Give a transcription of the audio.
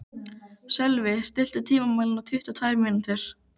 Sölvi, stilltu tímamælinn á tuttugu og tvær mínútur.